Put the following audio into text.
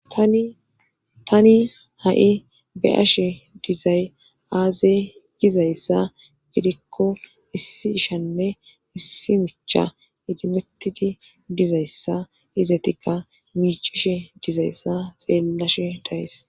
tani ha7i be'ashe dizay aazey dizayssa bidikko issi ishanne issi micha idimettidi dizayssa izatikka miicishe dizayssa xeellashe dayes